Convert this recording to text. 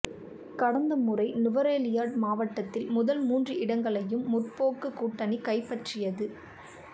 கடந்தமுறை நுவரெலியா மாவட்டத்தில் முதல் மூன்று இடங்களையும் முற்போக்குக் கூட்டணி கைப்பற்றியது